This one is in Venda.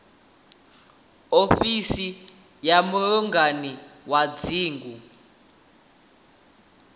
ofisi ya mulangi wa dzingu